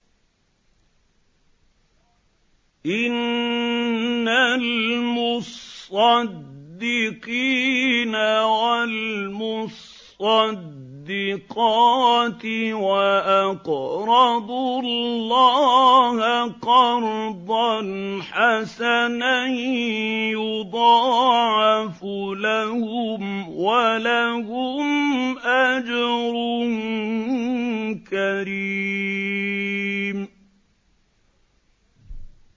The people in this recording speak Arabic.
إِنَّ الْمُصَّدِّقِينَ وَالْمُصَّدِّقَاتِ وَأَقْرَضُوا اللَّهَ قَرْضًا حَسَنًا يُضَاعَفُ لَهُمْ وَلَهُمْ أَجْرٌ كَرِيمٌ